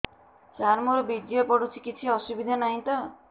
ସାର ମୋର ବୀର୍ଯ୍ୟ ପଡୁଛି କିଛି ଅସୁବିଧା ନାହିଁ ତ